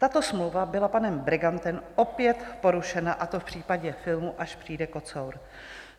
Tato smlouva byla panem Bregantem opět porušena, a to v případě filmu Až přijde kocour.